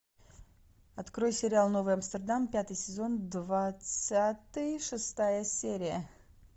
открой сериал новый амстердам пятый сезон двадцатый шестая серия